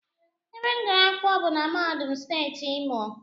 Ebe m gụrụ akwụkwọ bụ na mahadum steeti Imo